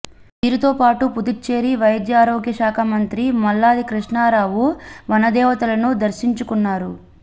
వీరితో పాటుగా పుదుచ్చేరి వైద్యారోగ్యశాఖ మంత్రి మల్లాది కృష్ణారావు వనదేవతలను దర్శించుకున్నారు